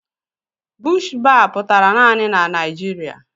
Bush baa pụtara naanị na Naịjiria.